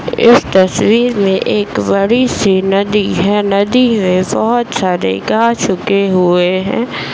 इस तस्वीर में एक बड़ी सी नदी है | नदी में बहुत सारे गाछ उगे हुए हैं |